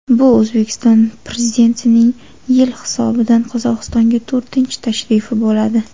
Bu O‘zbekiston Prezidentining yil hisobidan Qozog‘istonga to‘rtinchi tashrifi bo‘ladi.